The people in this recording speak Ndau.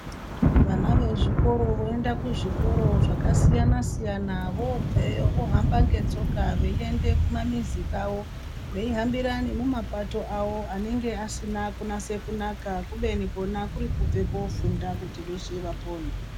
Vana vezvikoro voenda kuzvikoro zvakasiyana siyana vohamba ngetsoka veiende kumamizi kwavo veihambire kumapato awo anenge asina kunase kunaka, kubeni kuri kubve kuundofunda kuti veshe vapone.